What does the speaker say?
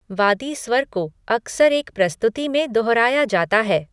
वादी स्वर को अक्सर एक प्रस्तुति में दोहराया जाता है।